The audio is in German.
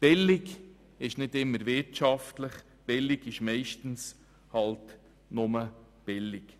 Billig ist nicht immer wirtschaftlich, sondern meistens einfach nur billig.